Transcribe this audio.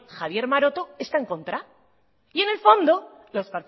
javier maroto está en contra y en el fondo los